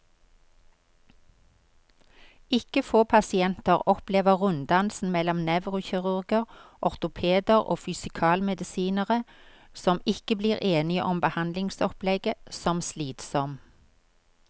Ikke få pasienter opplever runddansen mellom nevrokirurger, ortopeder og fysikalmedisinere, som ikke blir enige om behandlingsopplegget, som slitsom.